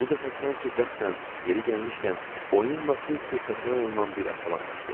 Bu dəfə sanki qəsdən, yeri gəlmişkən, oyunla tez-tez təkrarlanan bir əhvalat baş verdi.